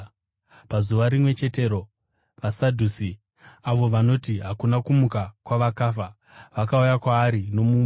Pazuva rimwe chetero vaSadhusi, avo vanoti hakuna kumuka kwavakafa, vakauya kwaari nomubvunzo.